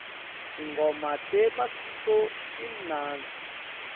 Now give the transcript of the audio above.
tingoma temasiko timnandzi